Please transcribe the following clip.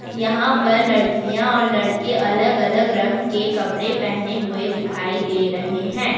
यहां पर लड़कियां और लड़के अलग अलग रंग के कपड़े पहने हुए दिखाई दे रहे हैं।